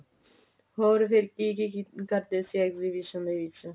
ਹੋਰ ਫਿਰ ਕੀ ਕੀ ਕਰਦੇ ਸੀਗੇ exhibition ਦੇ ਵਿੱਚ